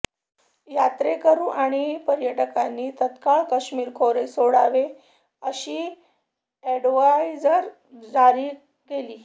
यात्रेकरू आणि पर्यटकांनी तत्काळ कश्मीर खोरे सोडावे अशी ऍडव्हायजरी जारी केली